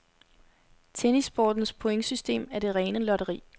Tennissportens pointsystem er det rene lotteri.